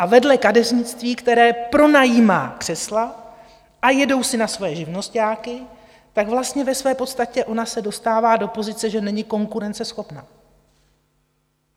A vedle kadeřnictví, které pronajímá křesla a jedou si na svoje živnosťáky, tak vlastně ve své podstatě ona se dostává do pozice, že není konkurenceschopná.